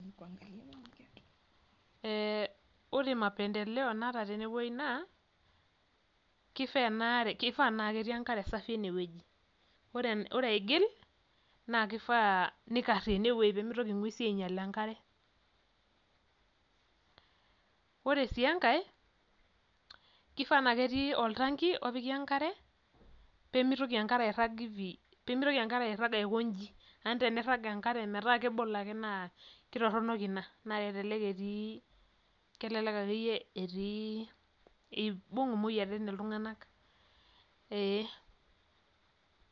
Ee ore mapendeleo naata tene naa kifaa naa kitii enkare safi ene woji. Ore aigil kifaa nikare ene woji pee mitoki inkuesi ainyail enkare. Ore sii enkae kifaa naa ketii eltangi opiki enkare pee mitoki enkare airag aikoji amu nifaa metaa kebolo naa ketoronok naa kelek etii neibung imoyiaritin iltunganak ee.